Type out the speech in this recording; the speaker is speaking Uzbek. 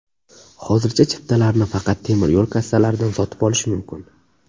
Hozircha chiptalarni faqat temiryo‘l kassalaridan sotib olish mumkin.